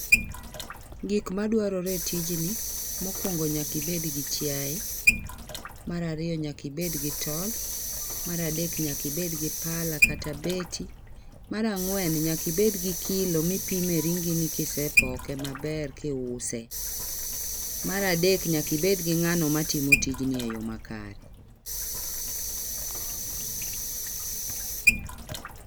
Gik madwarore e tijni mokuongo nyaka ibed gi chiaye. Mar ariyo nyaka ibed gi tol. Mar adek nyaka ibed gi pala kata beti. Mar ang'wen nyaka ibed gi kilo mipime ringini kise poke maber kiuse. Mar adek nyaka ibed gi ng'ano matimo tijni makare.